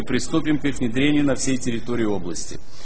приступим к их внедрению на всей территории области